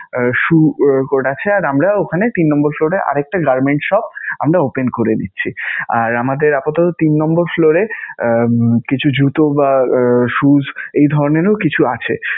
shoe court আছে. আর আমরা ওখানে তিন নাম্বার floor এ আর একটা garments shop আমরা open করে দিচ্ছি. আর আমাদের আপাতত তিন নাম্বার floor এ কিছু জুতো বা shoes এই ধরণেরও কিছু আছে